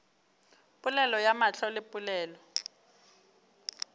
polelo ya mahlo le polelo